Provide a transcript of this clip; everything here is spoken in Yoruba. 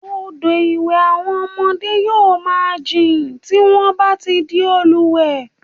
Odò ìlúwẹ̀ẹ́ àwọn ọmọdé yóò máa jìn tí wọ́n bá ti di òmùwẹ̀